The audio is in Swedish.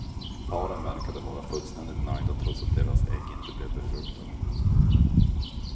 Paren verkade vara fullständigt nöjda trots att deras ägg inte blev befruktade.